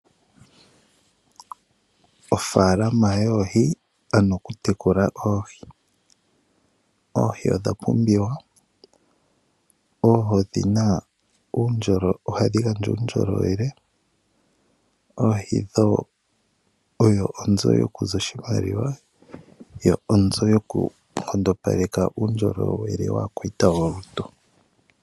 Ofaalama yoohi ano okutekula oohi . Oohi odha pumbiwa. Ohadhi gandja uundjolowele . Dho odho oonzo dhokuza oshimaliwa nokunkondopeka aakwayita yolutu.